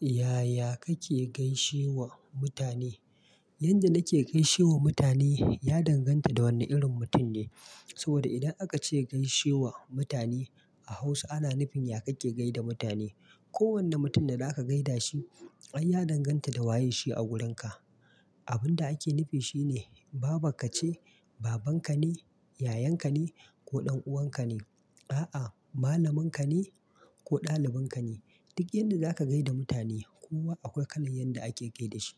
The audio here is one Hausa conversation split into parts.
Yaya kake gaishewa mutane? Yanda nake gaishewa mutane ya danganta da wane irin mutum ne. Saboda idan aka ce gaishe wa mutane a Hausa, ana nufin ya kake gaida mutane. Ko wanne mutum da za ka gaida shi, ai ya danganta da waye shi a wurinka. Abin da ake nufi shine baban ka ce, baban ka ne, yayan ka ne ko ɗan'uwan ka ne? A'a, malamin ka ni ko ɗalibin ka ne? Duk yanda za ka gaida mutane kowa akwai kalan yanda ake gai da shi.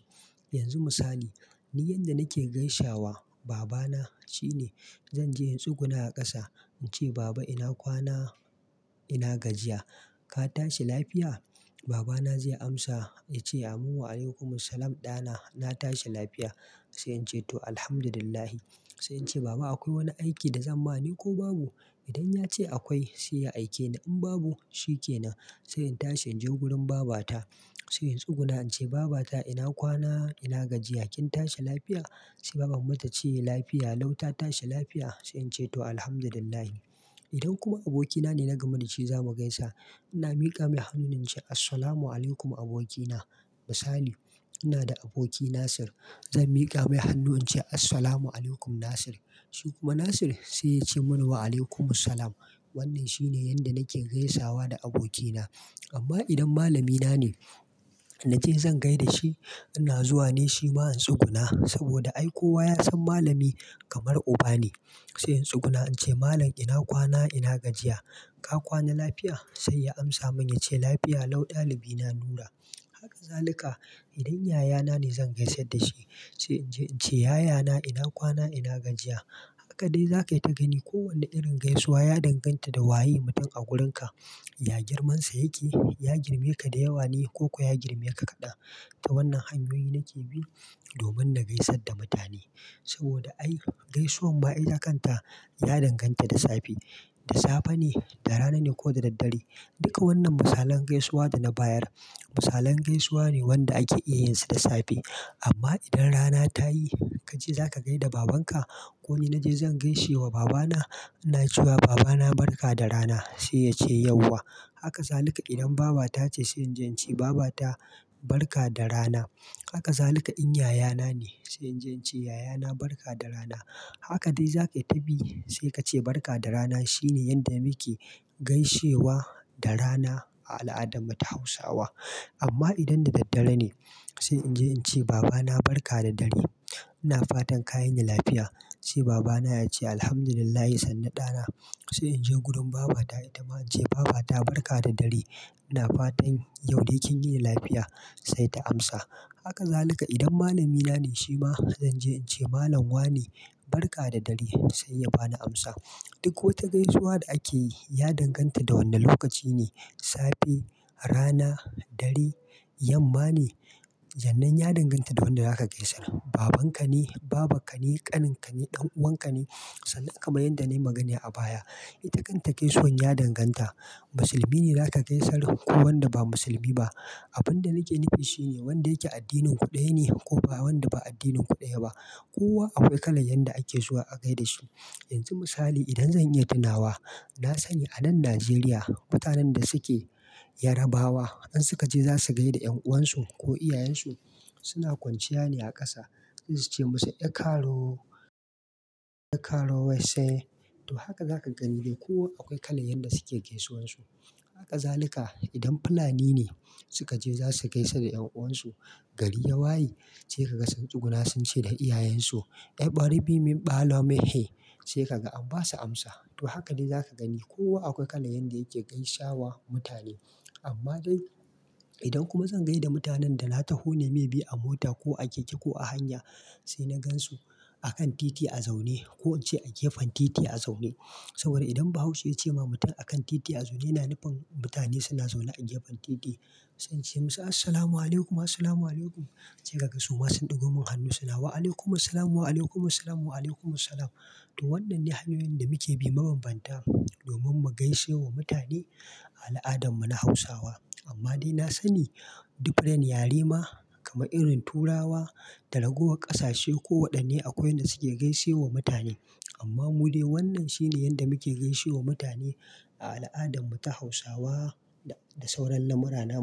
Yanzu misali, ni yanda nake gaisawa baba na shine. Zan je in tsuguna a ƙasa in ce “Baba ina kwana, ina gajiya. Ka tashi lafiya?” Baba na zai amsa ya ce “Amin wa'alaikumussalam ɗa na, na tashi lafiya.” Sai in ce “to Alhamdulillah.” Sai in ce “Baba akwai wani aiki da zan ma ni ko babu?” Idan ya ce akwai sai ya aike ni, in babu shi ke nan. Sai in tashi in je wurin baba ta sai in tsuguna in ce “Baba ta ina kwana, ina gajiya. Kin tashi lafiya?” Sai mama ta ce “Lafiya lau ta tashi lafiya.” Sai in ce “to Alhamdulillah.” Idan kuma aboki na ne na gama da shi zamu gaisa, ina miƙa mai hannu ne in ce“Assalamu alaikum aboki na.” Misali ina da aboki Nasir. Zan miƙa mai hannu in ce “Assalamu alaikum Nasir.” Shi kuma Nasir sai ya ce min “Wa'alaikumussalam.” Wannan shine yanda nake gaisawa da aboki na. Amma idan malami na ne na ce zan gaida shi, ina zuwa ne shi ma in tsuguna saboda ai kowa ya san malami kamar uba ne. Sai in tsuguna in ce “Malam ina kwana, ina gajiya. Ka kwana lafiya?” Sai ya amsa min ya ce “Lafiya lau ɗalibi na Nura.” Haka zaluka idan yaya na ne zan gaisar da shi. Sai in je in ce “Yaya na ina kwana, ina gajiya.” Haka dai za ka yi, ta gani kowane irin gaisuwa ya danganta da waye mutum a wurin ka, ya girmansa yake. Ya girmike da yawa ne ko kuwa ya girmike kaɗan. To wannan hanyoyi nake bi domin na gaisar da mutane. Saboda ai gaisuwan ma itakanta ya danganta da safe. Da safe ne, da rana ne ko da dare. Duka wannan misalan gaisuwa da na bayar misalan gaisuwa ne wanda ake iya yin su da safe. Amma idan rana ta yi kace za ka gaida babanka ko ni naje zan gaishe wa babana. Ina ce wa babana “Barka da rana.” Sai ya ce “Yauwa.” Haka zalika idan baba ta ce sai in je in ce “Baba ta barka da rana.” Haka zalika in yaya na ne, sai in je in ce “Yaya na barka da rana.” Haka dai za ka yi, ta bi sai ka ce barka da rana. Shi ne yanda muke gaishewa da rana a al'adar mu ta Hausawa. Amma idan da daddare, ne sai in je in ce “Baba na barka da dare, ina fatan ka yini lafiya.” Sai baba na ya ce “Alhamdulillah, sannu ɗana.” Sai in je wurin baba ta ita ma in ce “Baba ta barka da dare, ina fatan yau dai kin yini lafiya” sai ta amsa. Haka zalika idan malami na ne shi ma zan je in ce “Malam wa ne barka da dare” sai ya bani amsa. Duk ko wata gaisuwa da ake yi ya danganta da wanda lokaci ne. Safe, rana, dare, yamma ne? Jannen ya danganta da wanda zaka gaisar. Baban ka ne, baba ka ne, ƙanin ka ne, ɗan'uwan ka ne? Sannan kaman yanda na yi magana a baya. Itakanta gaisuwan ya danganta, musulmi ne za ka gaisar ko wanda ba musulmi ba. Abin da nake nufi shi ne wanda yake addinin kuɗai ne ko wanda ba addinin kuɗai ba. Kowa akwai kalan yanda ake zuwa a gai da shi. Yanzu misali idan zan iya tunawa, na sani a nan Najeriya mutanen da suke Yarabawa in suka je za su gai da ƴan'uwan su ko iyayen su. Suna kwanciya ne a ƙasa in za su ce musu “Ekaro, ekaro wai sai.” To haka za ka gani dai kowa akwai kalan yanda suke gaisuwan su. Haka zalika idan Fulani ne suka je za su gaisa da ƴan'uwan su. Gari yawayi, sai ka ga sun tsuguna sun ce da iyayen su “E gbaribi mi, balo mehe.” Sai ka ga amma ba su amsa. To haka dai za ka gani kowa akwai kala yanda yake gaisawa mutane. Amma dai, idan kuma zan gai da mutanen da na taho ne maybe a mota, ko a keke, ko a hanya sai na gansu a kan titi a zaune ko in ce a gefen titi a zaune. Saboda idan Bahaushe ya ce ma mutum a kan titi a zaune yana nufin mutane suna zaune a gefen titi. Sai in ce musu “Assalamu alaikum, assalamu alaikum.” Sai ka ga su ma sun ɗigo min hannu suna “Wa'alaikumussalam, wa'alaikumussalam, wa'alaikumussalam.” To wannan ne hanyoyin da muke bi mabambanta domin mu gaishe wa mutane a al'adarmu ta Hausawa. Amma dai na sani different yare ma kamar irin Turawa, talakawa ƙasashe kowanne akwai yanda suke gaishe wa mutane. Amma mu dai wannan shine yanda muke gaishe wa mutane a al'adar mu ta Hausawa da sauran lamurran mu.